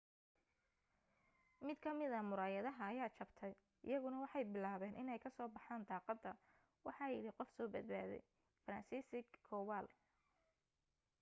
mid ka mid ah muraayada ayaa jabtay iyaguna waxay bilaabeen iney ka soo baxan daqada waxa yidhi qof soo badbaday franciszek kowal